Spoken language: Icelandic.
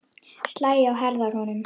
Slæ á herðar honum.